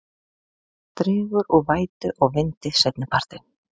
Dregur úr vætu og vindi seinnipartinn